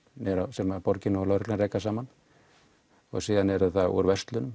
sem borin og lögreglan reka saman og síðan úr verslunum